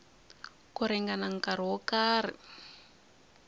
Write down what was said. ku ringana nkarhi wo karhi